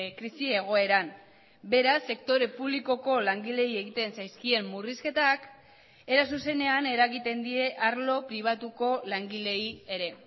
krisi egoeran beraz sektore publikoko langileei egiten zaizkien murrizketak era zuzenean eragiten die arlo pribatuko langileei ere